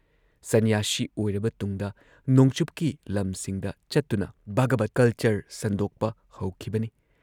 ꯁꯟꯅ꯭ꯌꯥꯁꯤ ꯑꯣꯏꯔꯕ ꯇꯨꯡꯗ ꯅꯣꯡꯆꯨꯞꯀꯤ ꯂꯝꯁꯤꯡꯗ ꯆꯠꯇꯨꯅ ꯚꯒꯕꯠ ꯀꯜꯆꯔ ꯁꯟꯗꯣꯛꯄ ꯍꯧꯈꯤꯕꯅꯤ ꯫